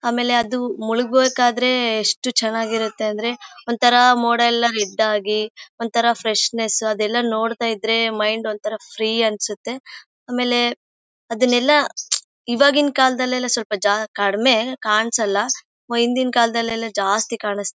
ಆಮೇಲೆ ಅದು ಮುಳುಗ್ಬೇಕಾದ್ರೆ ಎಷ್ಟು ಚೆನ್ನಾಗಿರುತ್ತೆ ಅಂದ್ರೆ ಒಂತರ ಮೋಡ ಎಲ್ಲ ರೆಡ್ ಆಗಿ ಒಂತರ ಫ್ರೆಶ್ನೆಸ್ ಅದೆಲ್ಲ ನೋಡ್ತಾ ಇದ್ರೆ ಮೈಂಡ್ ಒಂತರ ಫ್ರೀ ಅನ್ಸುತ್ತೆ ಆಮೇಲೆ ಅದನ್ನೆಲ್ಲ ಇವಗಿನ್ ಕಾಲದಲ್ಲಿ ಕಡಿಮೆ ಕನ್ಸೋಲ್ಲ ಹಿಂದಿನ ಕಾಲದಲ್ಲಿಎಲ್ಲ ಜಾಸ್ತಿ ಕಾಣ್ --